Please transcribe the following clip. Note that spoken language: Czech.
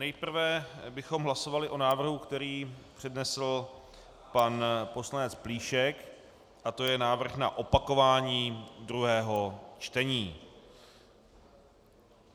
Nejprve bychom hlasovali o návrhu, který přednesl pan poslanec Plíšek, a to je návrh na opakování druhého čtení.